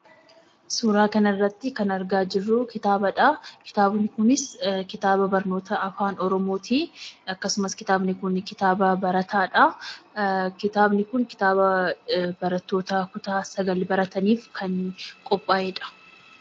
Suuraa kanarrattii kan argaa jirruu kitaabadhaa. Kitaabni kunis kitaaba barnoota Afaan Oromootii. Akkasumas kitaabni kuni kitaaba barataadhaa. Kitaabni kun kitaaba barattoota kutaa sagal barataniif kan qophaa'edha.